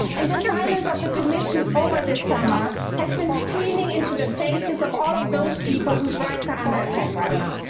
The silence of the Commission over this summer has been screaming into the faces of all of those people whose rights are under attack right now.